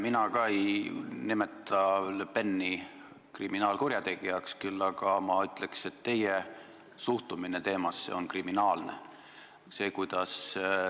Mina ka ei nimeta Le Peni kriminaalkurjategijaks, küll aga ma ütleks, et teie suhtumine teemasse on kriminaalne.